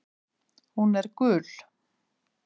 Hún er gul.